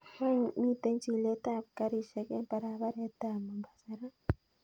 Wany miten chilet ab karishek en barabaret tab mombasa raa